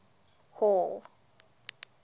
hall